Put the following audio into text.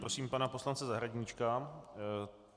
Prosím pana poslance Zahradníčka.